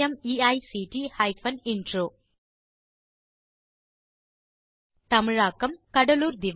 httpspoken tutorialorgNMEICT Intro தமிழாக்கம் கடலூர் திவா